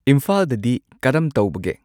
ꯏꯝꯐꯥꯜꯗꯗꯤ ꯀꯔꯝ ꯇꯧꯕꯒꯦ